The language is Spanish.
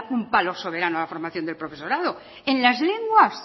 un palo soberano a la formación del profesorado en las lenguas